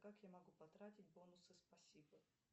как я могу потратить бонусы спасибо